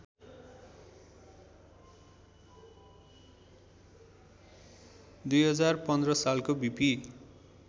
२०१५ सालको बीपी